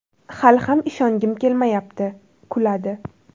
Hali ham ishongim kelmayapti (kuladi)”.